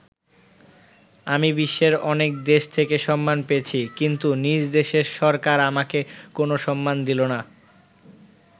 আমি বিশ্বের অনেক দেশ থেকে সম্মান পেয়েছি, কিন্তু নিজ দেশের সরকার আমাকে কোনো সম্মান দিল না।